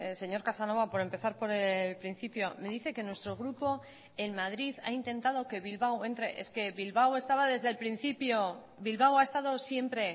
señor casanova por empezar por el principio me dice que nuestro grupo en madrid ha intentado que bilbao entre es que bilbao estaba desde el principio bilbao ha estado siempre